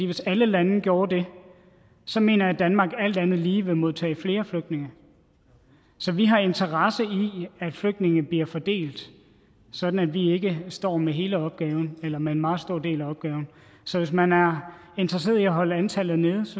hvis alle lande gjorde det så mener jeg at danmark alt andet lige ville modtage flere flygtninge så vi har interesse i at flygtninge bliver fordelt sådan at vi ikke står med hele opgaven eller med en meget stor del af opgaven så hvis man er interesseret i at holde antallet nede